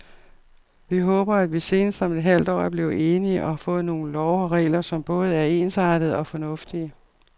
Vi håber, at vi senest om et halvt år er blevet enige og har fået nogle love og regler, som både er ensartede og fornuftige.